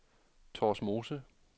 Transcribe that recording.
Torsmose